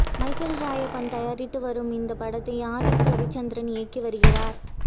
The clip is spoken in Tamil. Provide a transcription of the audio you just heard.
மைக்கேல் ராயப்பன் தயாரித்து வரும் இந்த படத்தை ஆதிக் ரவிச்சந்திரன் இயக்கி வருகிறார்